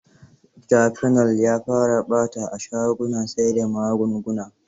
Cafenol ya fara ɓata a shagunan sai da magunguna.